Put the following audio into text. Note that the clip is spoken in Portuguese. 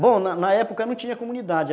Bom, na época não tinha comunidade.